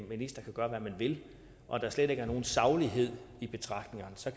minister kan gøre hvad man vil og der slet ikke er nogen saglighed i betragtningerne så